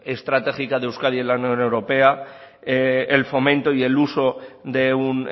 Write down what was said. estratégica de euskadi en la unión europea el fomento y el uso de un